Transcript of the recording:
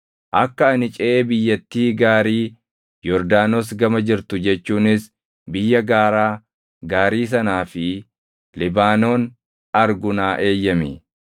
Akka ani ceʼee biyyattii gaarii Yordaanos gama jirtu jechuunis biyya gaaraa gaarii sanaa fi Libaanoon argu naa eeyyami.”